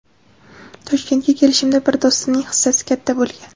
Toshkentga kelishimda bir do‘stimning hissasi katta bo‘lgan.